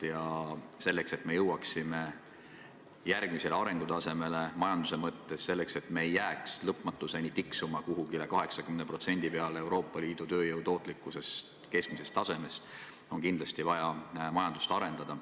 Ja selleks, et me jõuaksime majanduse mõttes järgmisele arengutasemele, selleks, et me ei jääks lõpmatuseni tiksuma kuhugi 80% peale Euroopa Liidu tööjõu tootlikkuse keskmisest tasemest, on kindlasti vaja majandust arendada.